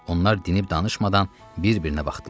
Onlar dinib-danışmadan bir-birinə baxdılar.